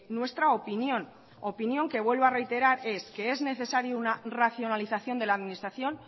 nuestra opinión opinión que vuelvo a reiterar es que es necesario una racionalización de la administración